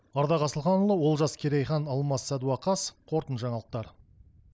ардақ асылханұлы олжас керейхан алмас сәдуақас қорытынды жаңалықтар